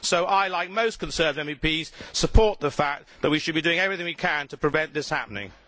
So I, like most Conservative MEPs, support the view that we should be doing everything we can to prevent this happening.